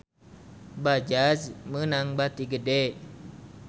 Bajaj meunang bati gede